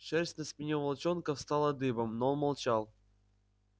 шерсть на спине у волчонка встала дыбом но он молчал